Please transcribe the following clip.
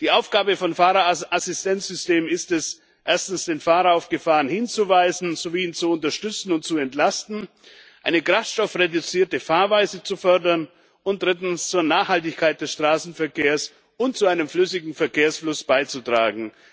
Die Aufgabe von Fahrerassistenzsystemen ist es, erstens den Fahrer auf Gefahren hinzuweisen sowie ihn zu unterstützen und zu entlasten, zweitens eine kraftstoffreduzierte Fahrweise zu fördern und drittens zur Nachhaltigkeit des Straßenverkehrs und zu einem flüssigen Verkehrsfluss beizutragen.